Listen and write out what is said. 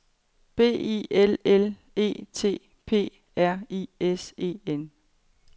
B I L L E T P R I S E N